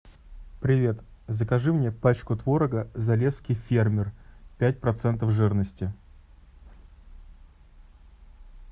привет закажи мне пачку творога залесский фермер пять процентов жирности